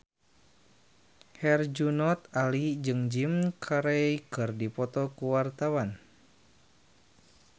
Herjunot Ali jeung Jim Carey keur dipoto ku wartawan